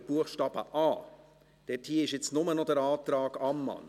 Buchstabe a. Hier gibt es nur noch den Antrag Ammann.